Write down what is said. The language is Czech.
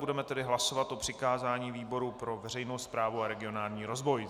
Budeme tedy hlasovat o přikázání výboru pro veřejnou správu a regionální rozvoj.